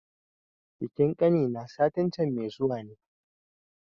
Bikin ƙani na satin can mai zuwa ne